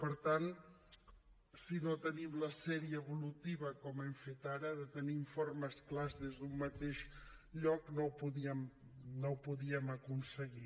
per tant si no tenim la sèrie evolutiva com hem fet ara de tenir informes clars des d’un mateix lloc no ho podíem aconseguir